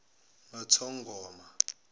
nothongoma